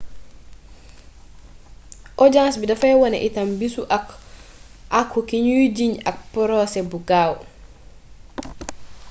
ojaans bi dafay wone itam bisu àqu kiñuy jiiñ ab porosé bu gaaw